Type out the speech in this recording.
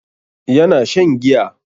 Yana shan giya.